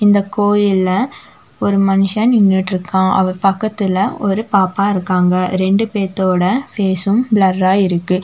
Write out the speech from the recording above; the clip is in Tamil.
இந்த கோயில்ல ஒரு மனுஷன் நின்னுட்ருகான் அவர் பக்கத்துல ஒரு பாப்பா இருக்காங்க ரெண்டு பேத்தொட ஃபேஸ்ஸும் ப்ளர்ரா இருக்கு.